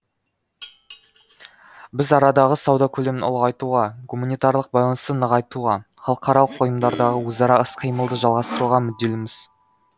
біз арадағы сауда көлемін ұлғайтуға гуманитарлық байланысты нығайтуға халықаралық ұйымдардағы өзара іс қимылды жалғастыруға мүдделіміз